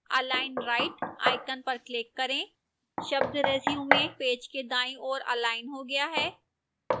align right icon पर click करें शब्द resume पेज के दाईं ओर अलाइन हो गया है